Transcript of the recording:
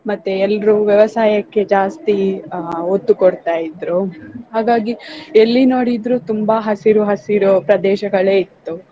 ಮತ್ತೆ ಎಲ್ರೂ ವ್ಯವಸಾಯಕ್ಕೆ ಜಾಸ್ತಿ ಆ ಒತ್ತು ಕೊಡ್ತಾ ಇದ್ರು ಹಾಗಾಗಿ ಎಲ್ಲಿ ನೋಡಿದ್ರು ತುಂಬಾ ಹಸಿರು ಹಸಿರು ಪ್ರದೇಶಗಳೇ ಇತ್ತು.